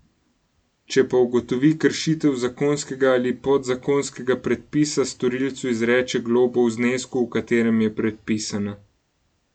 Če pa ugotovi kršitev zakonskega ali podzakonskega predpisa, storilcu izreče globo v znesku, v katerem je predpisana.